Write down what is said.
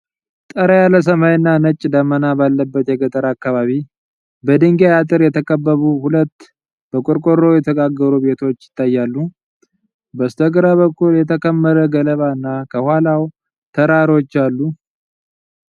ጠራ ያለ ሰማይና ነጭ ደመና ባለበት የገጠር አካባቢ፣ በድንጋይ አጥር የተከበቡ ሁለት በቆርቆሮ የተጋገሩ ቤቶች ይታያሉ። በስተግራ በኩል የተከመረ ገለባና ከኋላው ተራሮች አሉ።